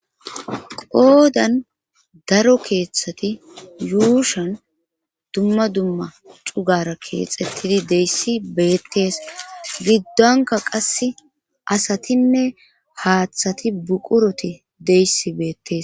Qoodan daro keeththati yuushan dumma dumma cugara keexettidi deyssi beettees giddonka qasse asatinne haaththati buquroti deyssi beettes.